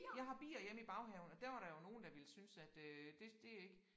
Jeg har bier hjemme i baghaven og der var der jo nogen der ville synes at øh det det ikke